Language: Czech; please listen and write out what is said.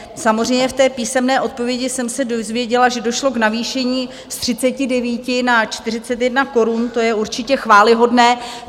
Samozřejmě v té písemné odpovědi jsem se dozvěděla, že došlo k navýšení z 39 na 41 korun, to je určitě chvályhodné.